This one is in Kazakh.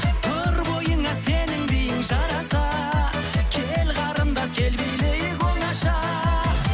тұр бойыңа сенің биің жараса кел қарындас кел билейік оңаша